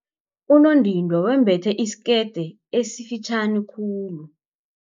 Unondindwa wembethe isikete esifitjhani khulu.